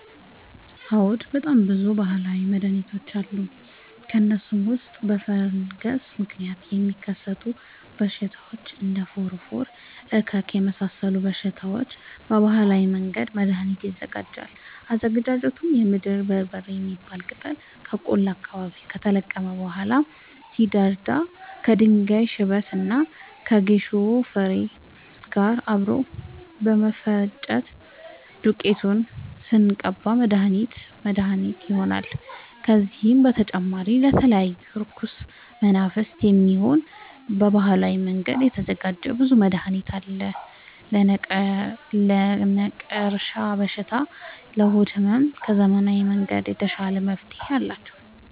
አዎድ በጣም ብዙ በሀላዊ መድሀኒቶች አሉ ከእነሱም ውስጥ በፈንገስ ምክንያት ለሚከሰቱ በሽታዎች እንደ ፎረፎር እከክ የመሳሰሉ በሽታዎች በባህላዊ መንገድ መድሀኒት ይዘጋጃል አዘገጃጀቱም የምድር በርበሬ የሚባል ቅጠል ከቆላ አካባቢ ከተለቀመ በኋላ ሲደርዳ ከድንጋይ ሽበት እና ከጌሾ ፋሬ ጋር አብሮ በመፈጨት ዱቄቱን ስንቀባ መድሀኒት መድሀኒት ይሆነናል። ከዚህም በተጨማሪ ለተለያዩ እርኩስ መናፍት፣ የሚሆን በባህላዊ መንገድ የተዘጋጀ ብዙ መድሀኒት አለ። ለነቀርሻ በሽታ ለሆድ ህመም ከዘመናዊ መንገድ የተሻለ መፍትሄ አላቸው።